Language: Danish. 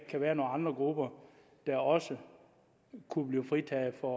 kan være nogle andre grupper der også kunne blive fritaget for